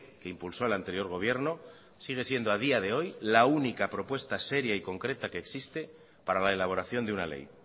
que impulsó el anterior gobierno sigue siendo a día de hoy la única propuesta seria y concreta que existe para la elaboración de una ley